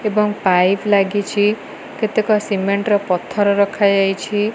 ଏବଂ ପାଇପ ଲାଗିଚି। କେତେକ ସିମେଣ୍ଟ ର ପଥର ରଖାଯାଇଛି।